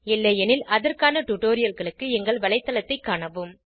இல்லையெனில் அதற்கான டுடோரியல்களுக்கு எங்கள் வலைத்தளத்தைக் காணவும்